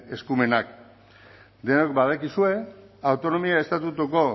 eskumenak denok badakizue autonomia estatutuko